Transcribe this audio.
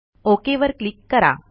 okay वर click करा